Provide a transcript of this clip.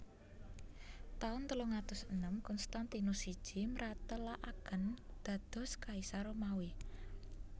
Taun telung atus enem Konstantinus siji mratèlakaken dados Kaisar Romawi